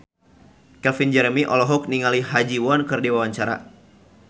Calvin Jeremy olohok ningali Ha Ji Won keur diwawancara